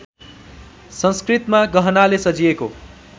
संस्कृतमा गहनाले सजिएको